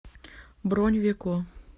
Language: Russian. бронь веко